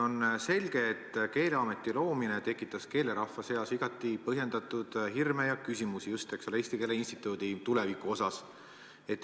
On selge, et Keeleameti loomine tekitas keelerahva seas igati põhjendatud hirme ja küsimusi eelkõige Eesti Keele Instituudi tuleviku suhtes.